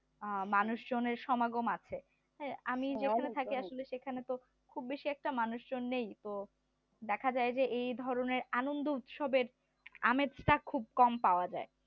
মানুষ জনের সমাগম আছে আমি যেখানে থাকি আসলে তো খুব একটা মানুষ জন নেই তো দেখা যায় যে এই ধরনের আনন্দ উৎসবের আমেজটা খুব কম পাওয়া যায়